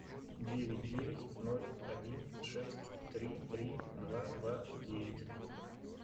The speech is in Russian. девять девять ноль один шесть три три два два девять